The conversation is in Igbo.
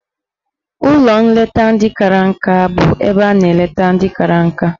Ụlọ nleta ndị kara nka bụ ebe a na-eleta ndị kara nka.